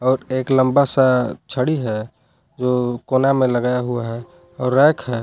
और एक लंबा सा छड़ी है जो कोना में लगाया हुआ है और रैक है।